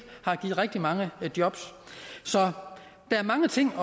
har givet rigtig mange jobs så der er mange ting